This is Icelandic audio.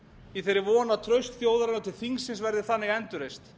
í þeirri von að traust þjóðarinnar til þingsins verði þannig endurreist